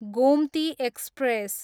Gomti express